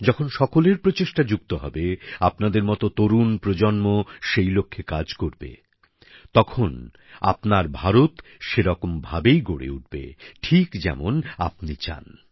যখন সকলের প্রচেষ্টা যুক্ত হবে আপনাদের মত তরুণ প্রজন্ম সেই লক্ষ্যে কাজ করবে তখন আপনার ভারত সেরকম ভাবেই গড়ে উঠবে ঠিক যেমন আপনি চান